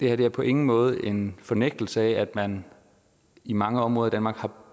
er på ingen måde en fornægtelse af at man i mange områder af danmark har